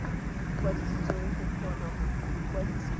kwadisitswe go kgona go kwadisa